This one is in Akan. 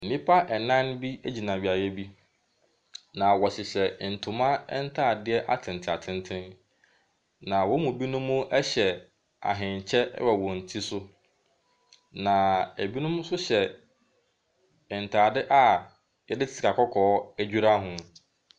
Nnipa nnan bi gyina beaeɛ bi, na wɔhyehyɛ ntoma ntaadeɛ atenten atenten, na wɔn mu binom hyehyɛ ahenkyɛ wɔ wɔn ti so, na binom nso hyɛ ntaadeɛ a yɛde sika kɔkɔɔ adwira ho.